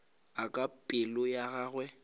a kwa pelo ya gagwe